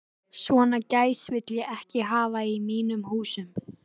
Svona gæs vil ég ekki hafa í mínum húsum.